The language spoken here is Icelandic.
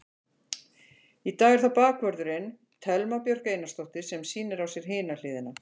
Í dag er það bakvörðurinn, Thelma Björk Einarsdóttir sem sýnir á sér hina hliðina.